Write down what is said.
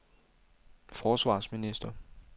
forsvarsminister